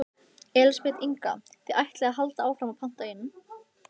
Elísabet Inga: Þið ætlið að halda áfram að panta inn?